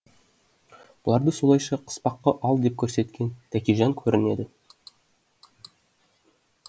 бұларды солайша қыспаққа ал деп көрсеткен тәкежан көрінеді